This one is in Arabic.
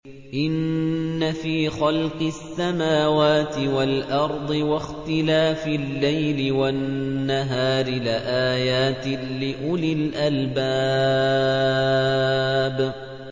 إِنَّ فِي خَلْقِ السَّمَاوَاتِ وَالْأَرْضِ وَاخْتِلَافِ اللَّيْلِ وَالنَّهَارِ لَآيَاتٍ لِّأُولِي الْأَلْبَابِ